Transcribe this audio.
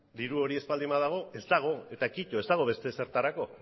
diru hori ez baldin badago ez dago eta kito ez dago bete ezertarako